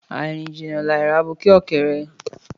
Àirín jínà làí ràbúkẹọkẹrẹ